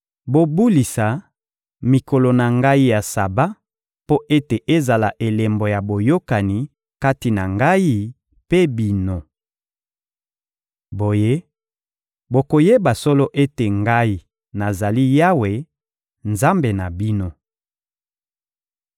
Bobulisa mikolo na Ngai ya Saba mpo ete ezala elembo ya boyokani kati na Ngai mpe bino. Boye, bokoyeba solo ete Ngai, nazali Yawe, Nzambe na bino.’